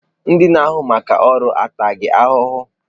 Ndị na-ahụ maka ọrụ a taa gị ahụhụ?